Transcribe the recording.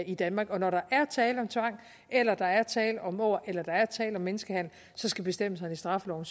i danmark og når der er tale om tvang eller der er tale om åger eller der er tale om menneskehandel skal bestemmelserne i straffeloven